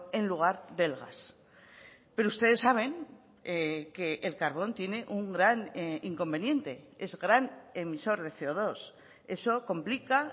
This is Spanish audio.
en lugar del gas pero ustedes saben que el carbón tiene un gran inconveniente es gran emisor de ce o dos eso complica